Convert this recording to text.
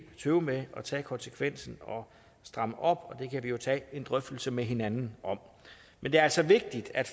tøve med at tage konsekvensen og stramme op det kan vi jo tage en drøftelse med hinanden om men det er altså vigtigt at